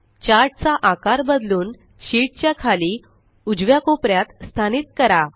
chart चा आकार बदलून शीट च्या खाली उज्यवा कोपऱ्यात स्थानीत करा